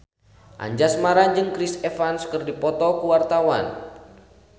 Anjasmara jeung Chris Evans keur dipoto ku wartawan